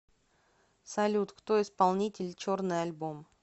салют кто исполнитель черный альбом